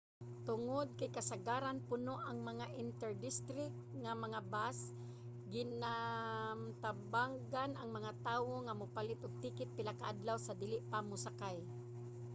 tungod kay kasagaran puno ang mga inter-district nga mga bus ginatambagan ang mga tawo nga mopalit og ticket pila ka adlaw sa dili pa mosakay